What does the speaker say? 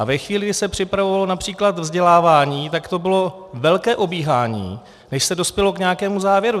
A ve chvíli, kdy se připravovalo například vzdělávání, tak to bylo velké obíhání, než se dospělo k nějakému závěru.